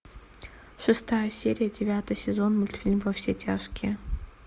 шестая серия девятый сезон мультфильм во все тяжкие